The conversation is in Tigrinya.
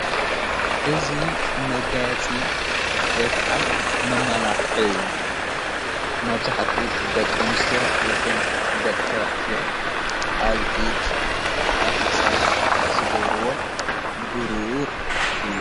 እዙ መጋያፂ ወይ ከዓ መማላኽዒ እዩ ።ማብዛኃጡ ደቀ ኣንስዮ ይኹን ደቀ ተውዓትዮ ኣብኢድ ኣብክሳድ ዝገብርዎ ብር እዩ።